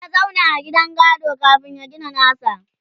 ya zauna a gidan gado kamin ya gina nasa?